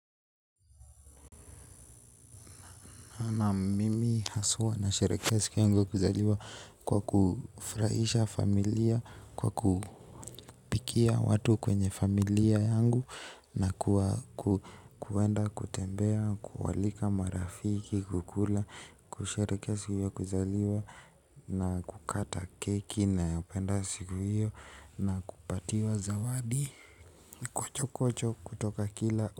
Na mimi haswa na sherekea siku yangu kuzaliwa kwa kufurahisha familia kwa kupikia watu kwenye familia yangu na kuenda kutembea, kualika marafiki, kukula, kushereke siku ya kuzaliwa na kukata keki naupenda siku hiyo na kupatiwa zawadi. Kucho kucho kutoka kila.